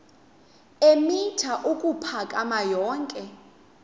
eemitha ukuphakama yonke